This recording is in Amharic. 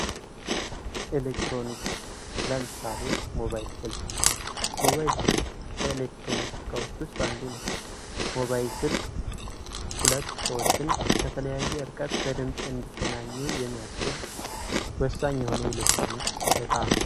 ኤሌክትሮኒክስ የኤሌክትሮኖችን ፍሰት በመቆጣጠር የተለያዩ ተግባራትን የሚያከናውኑ የኤሌክትሪክ ዑደቶችና መሳሪያዎች ጥናትና አተገባበር ነው።